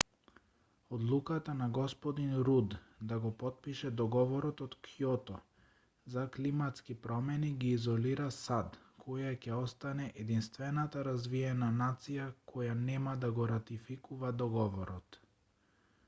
одлуката на г руд да го потпише договорот од кјото за климатски промени ги изолира сад која ќе остане единствената развиена нација која нема да го ратификува договорот